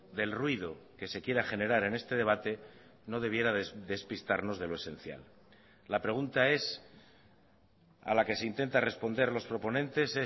del ruido que se quiera generar en este debate no debiera despistarnos de lo esencial la pregunta es a la que se intenta responder los proponentes